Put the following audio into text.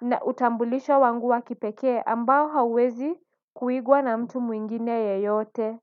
na utambulisho wangu wa kipekee ambao hauwezi kuigwa na mtu mwingine yeyote.